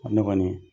Ne kɔni